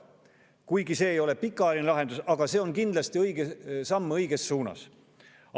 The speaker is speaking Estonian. Kuigi see ei ole pikaajaline lahendus, on see kindlasti õige samm õiges suunas.